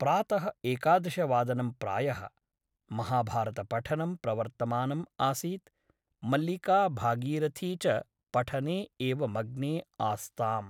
प्रातः एकादशवादनं प्रायः । महाभारतपठनं प्रवर्तमानम् आसीत् । मल्लिका भागीरथी च पठने एव मग्ने आस्ताम् ।